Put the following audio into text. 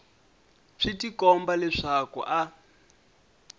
swi tikomba leswaku a a